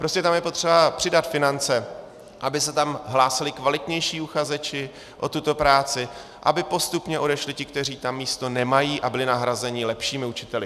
Prostě tam je potřeba přidat finance, aby se tam hlásili kvalitnější uchazeči o tuto práci, aby postupně odešli ti, kteří tam místo nemají, a byli nahrazeni lepšími učiteli.